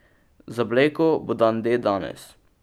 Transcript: Za Blejko bo dan D danes.